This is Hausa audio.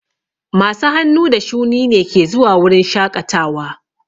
Masu hannu da shuni ne ke zuwa wurin shaƙatawa.